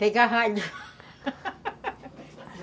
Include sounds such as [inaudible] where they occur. Pegar ralho [laughs]